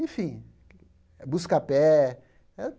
Enfim, buscar pé.